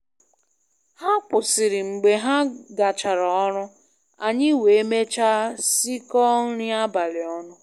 Ha kwụsịrị mgbe ha gachara ọrụ, anyị wee mechaa sikọọ nri abalị ọnụ